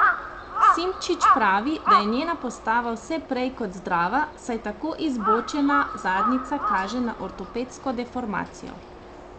Simčič pravi, da je njena postava vse prej kot zdrava, saj tako izbočena zadnjica kaže na ortopedsko deformacijo.